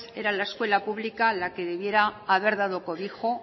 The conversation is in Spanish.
era la escuela pública la que debiera haber dado cobijo